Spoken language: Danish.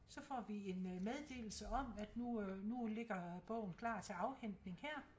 Så får vi en meddelse om at nu øh nu ligger bogen klar til afhentning her